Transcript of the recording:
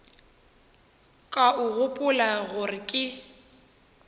ka o gopola gore ke